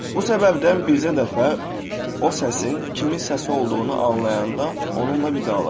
Bu səbəbdən bircə dəfə o səsin kimin səsi olduğunu anlayanda onunla vidalaş.